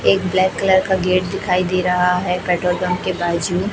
एक black colour का gate दिखाई दे रहा है पेट्रोल पंप के बाजू--